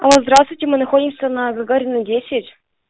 алло здравствуйте мы находимся на гагарина десять